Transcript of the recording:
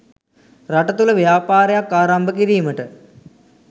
රට තුළ ව්‍යාපාරයක් ආරම්භ කිරීමට